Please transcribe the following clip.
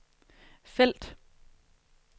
felt